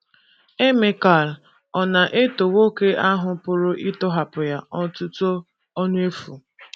Emekal ọ̀ na - eto nwoke ahụ pụrụ ịtọhapụ ya otuto ọnụ efu?